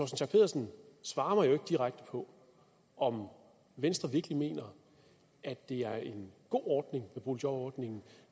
schack pedersen svarer mig jo ikke direkte på om venstre virkelig mener at det er en god ordning med boligjobordningen